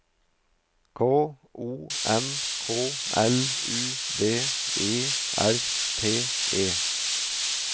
K O N K L U D E R T E